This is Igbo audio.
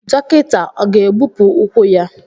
Dọkịta ọ ga-egbupụ ụkwụ ya?